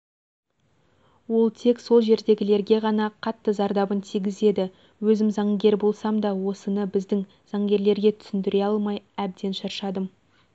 ол тек сол жердегілерге ғана қатты зардабын тигізеді өзім заңгер болсам да осыны біздің заңгерлерге түсіндіре алмай әбден шаршадым